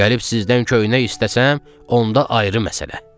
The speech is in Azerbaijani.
Gəlib sizdən köynək istəsəm, onda ayrı məsələ.